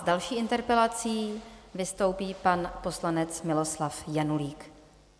S další interpelací vystoupí pan poslanec Miloslav Janulík.